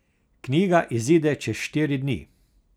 Knjiga izide čez štiri dni.